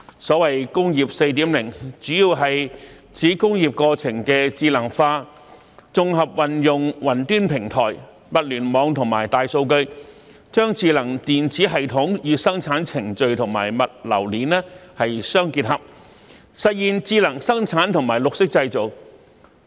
所謂"工業 4.0"， 主要是指工業過程的智能化，綜合運用雲端平台、物聯網和大數據，將智能電子系統與生產程序和物流鏈相結合，實現智能生產和綠色製造。